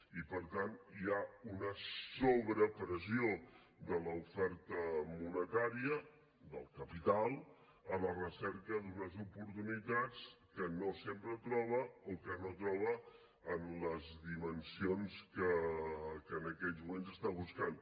i per tant hi ha una sobrepressió de l’oferta monetària del capital a la recerca d’unes oportunitats que no sempre troba o que no troba en les dimensions que en aquells moments està buscant